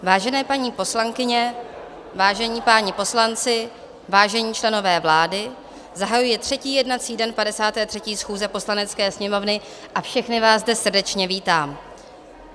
Vážené paní poslankyně, vážení páni poslanci, vážení členové vlády, zahajuji třetí jednací den 53. schůze Poslanecké sněmovny a všechny vás zde srdečně vítám.